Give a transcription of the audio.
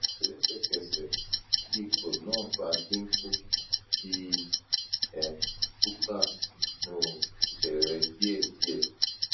lesekese ti ipo na ba dinku fi um wura sinu ounje re die die